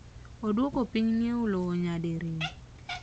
Odwoko piny ng’iewo lowo nyadi riyo.